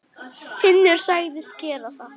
Finnur sagðist gera það.